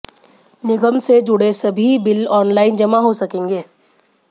निगम से जुड़े सभी बिल ऑनलाइन जमा हो सकेंगे